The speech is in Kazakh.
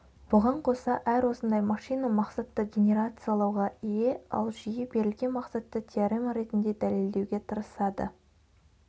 бұған қоса әр осындай машина мақсатты генерациялауға ие ал жүйе берілген мақсатты теорема ретінде дәлелдеуге тырысады